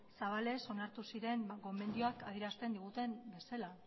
zabalez onartu ziren gomendioak adierazten diguten bezala